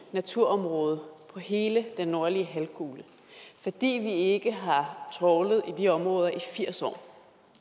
naturområde på hele den nordlige halvkugle fordi vi ikke har trawlet i de områder i firs år